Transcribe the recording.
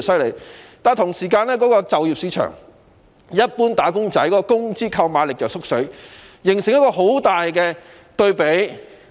與此同時，就業市場一般"打工仔"的工資購買力卻不斷萎縮，形成一個強烈對比。